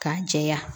K'a jɛya